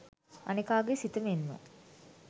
අනෙකා ගේ සිත මෙන්ම